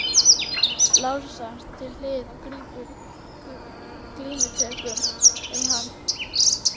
Lárusar til hliðar og grípur glímutökum um hann.